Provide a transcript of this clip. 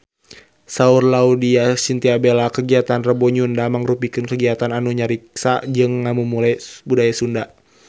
Saur Laudya Chintya Bella kagiatan Rebo Nyunda mangrupikeun kagiatan anu ngariksa jeung ngamumule budaya Sunda